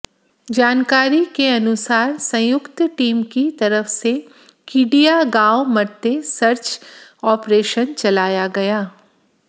जानकारी के अनुसार सयुक्त टीम की तरफ से कीडिया गांव मतें सर्च आपरेशन चलाया गया